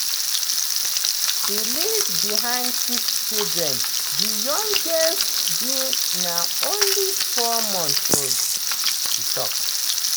"he leave behind six children di youngest being na only four months old" she tok.